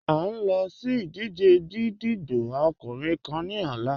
À n lọ sí ìdíjẹ̀ gídígbò ọkùnrin kán ni ọ̀là.